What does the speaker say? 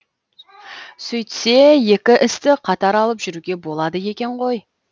сөйтсе екі істі қатар алып жүруге болады екен ғой